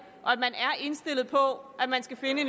indstillet på at man skal finde en